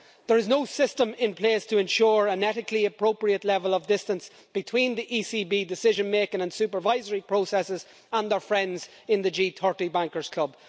There is no system in place to ensure an ethically appropriate level of distance between the ECB decision making and supervisory processes and their friends in the G30 bankers' club.